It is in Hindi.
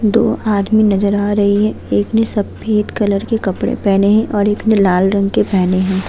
दो आदमी नजर आ रहे हैं। एक ने सफेद कलर के कपड़े पहने है और एक ने लाल रंग के पहने है।